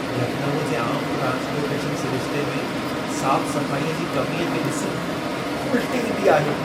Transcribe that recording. लखनऊ जे आम ट्रांस्पोर्टेशन सिरिशिते में साफ़-सफ़ाईअ जी कमीअ खे ॾिसी, उल्टी ईंदी आहे।